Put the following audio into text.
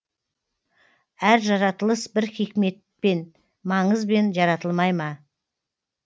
әр жаратылыс бір хикметпен маңызбен жаратылмай ма